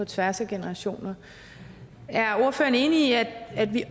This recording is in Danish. tværs af generationer er ordføreren enig i at at vi